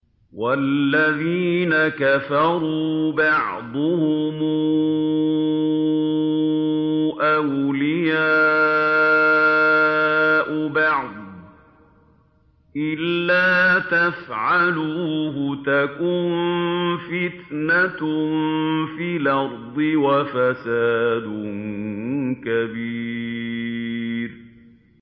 وَالَّذِينَ كَفَرُوا بَعْضُهُمْ أَوْلِيَاءُ بَعْضٍ ۚ إِلَّا تَفْعَلُوهُ تَكُن فِتْنَةٌ فِي الْأَرْضِ وَفَسَادٌ كَبِيرٌ